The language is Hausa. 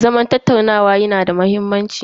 Zaman tattaunawa yanada muhimmanci.